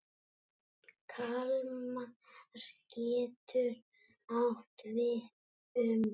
Kalmar getur átt við um